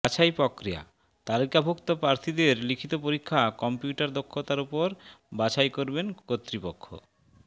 বাছাই প্ৰক্ৰিয়াঃ তালিকাভুক্ত প্ৰার্থীদের লিখিত পরীক্ষা কম্পিউটার দক্ষতার উপর বাছাই করবেন কর্তৃপক্ষ